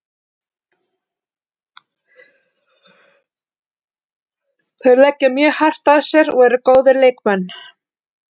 Þeir leggja mjög hart að sér og eru góðir leikmenn.